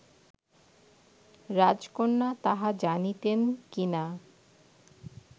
রাজকন্যা তাহা জানিতেন কি না